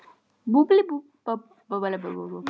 Uppdrátt hússins gerði húsameistari ríkisins prófessor Guðjón